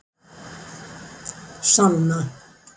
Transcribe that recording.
Sanna